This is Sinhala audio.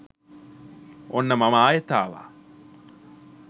ඔන්න මම ආයෙත් ආවා